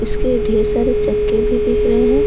इसके ढेर सारे चक्के भी दिख रहे हैं।